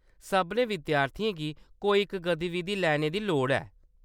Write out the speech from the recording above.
सभनें विद्यार्थियें गी कोई इक गतिविधि लैने दी लोड़ ऐ।